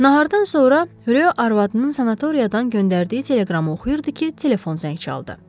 Nahardan sonra Ryo arvadının sanatoriyadan göndərdiyi teleqramı oxuyurdu ki, telefon zəng çaldı.